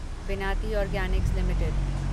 Vinati organics limited